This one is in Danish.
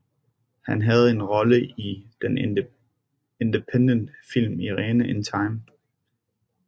Han havde en rolle i den independent film Irene in Time